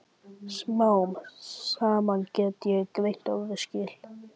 Smám saman gat ég greint orðaskil.